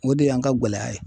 O de y'an ka gɛlɛya ye.